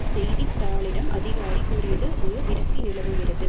செய்தி தாளிடம் அதிகாரி கூறியது ஒரு விரக்தி நிலவுகிறது